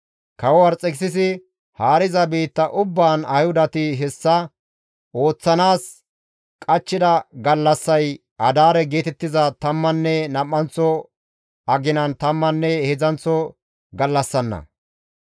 Kawo Arxekisisi haariza biitta ubbaan Ayhudati hessa ooththanaas qachchida gallassay Adaare geetettiza tammanne nam7anththo aginan tammanne heedzdzanththo gallassanna.